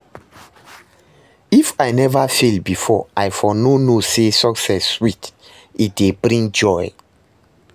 If I never fail before, I for no know say success sweet, e dey bring joy